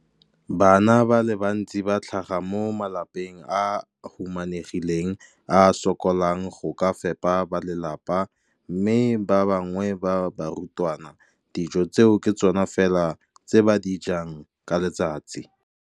Bana ba le bantsi ba tlhaga mo malapeng a a humanegileng a a sokolang go ka fepa ba lelapa mme ba bangwe ba barutwana, dijo tseo ke tsona fela tse ba di jang ka letsatsi.